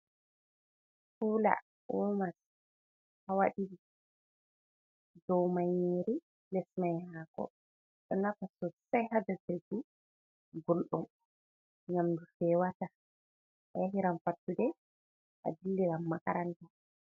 Kula, womas, hawa ɗiɗi, do mai nyiri les mai hako, do nafa sosai ha jogurki gulɗum, ngam nyamdu fewata, a yahi rai fattude a dilli ran makaranta.